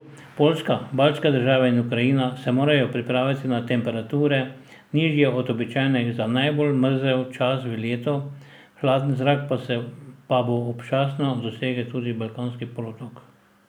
Poljska, baltske države in Ukrajina se morajo pripraviti na temperature, nižje od običajnih za najbolj mrzel čas v letu, hladen zrak pa bo občasno dosegel tudi Balkanski polotok.